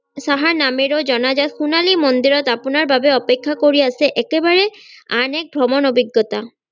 দৰবাৰ সাহা নামেৰেও জনা যায় সোনালী মন্দিৰত আপোনাৰ বাবে অপেক্ষা কৰি আছে একেবাৰে আন এক ভ্ৰমন অভিজ্ঞতা